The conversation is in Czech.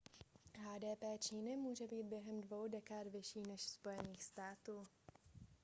hdp číny může být během dvou dekád vyšší než spojených států